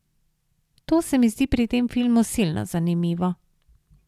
To se mi zdi pri tem filmu silno zanimivo.